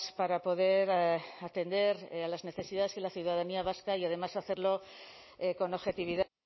para poder atender a las necesidades de la ciudadanía vasca y además hacerlo con objetividad